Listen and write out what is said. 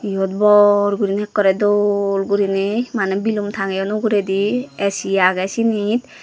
iyot bor gurinei ekkore dol gurinei mane bilum tangeyon uguredi A_C agey sinit.